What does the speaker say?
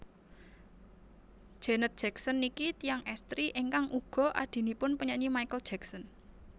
Janet Jackson niki tiyang estri ingkang uga adhinipun penyanyi Michael Jackson